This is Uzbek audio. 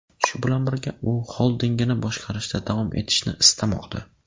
Shu bilan birga, u xoldingini boshqarishda davom etishni istamoqda.